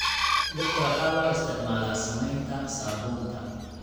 Dhirta waxaa loo isticmaalaa samaynta saabuunta.